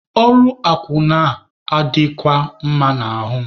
Ọrụ akwụna a adịghịkwa m mma n'ahụ.